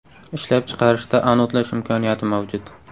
Ishlab chiqarishda anodlash imkoniyati mavjud.